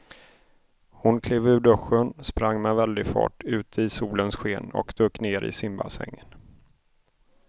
Hon klev ur duschen, sprang med väldig fart ut i solens sken och dök ner i simbassängen.